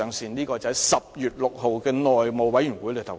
這是他在10月6日的內務委員會會議上的言論。